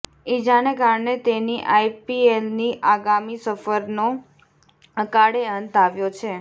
ઈજાને કારણે તેની આઈપીએલની આગામી સફરનો અકાળે અંત આવ્યો છે